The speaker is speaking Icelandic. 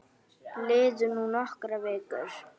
Liðu nú nokkrar vikur.